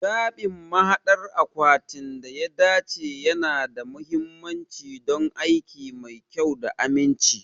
Zaɓin mahaɗdar akwatin da ya dace yana da mahimmanci don aiki mai kyau da aminci.